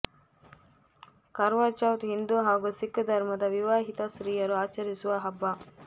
ಕರ್ವಾ ಚೌತ್ ಹಿಂದೂ ಹಾಗೂ ಸಿಖ್ ಧರ್ಮದ ವಿವಾಹಿತ ಸ್ತ್ರೀಯರು ಆಚರಿಸುವ ಹಬ್ಬ